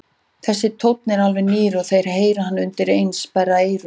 Þessi tónn er alveg nýr og þeir heyra hann undireins og sperra eyrun.